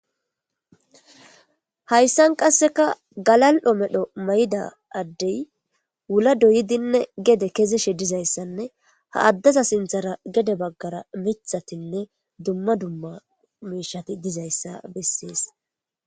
Haysan qaseka galal'o mala mayida adey wula doyidinne gede kezishe dizaysanne ha adezas sinthara mithatinne dumma dumma mishat dizaysa beses.